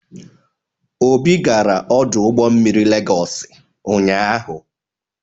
Obi gara ọdụ ụgbọ mmiri Legosị ụnyaahụ.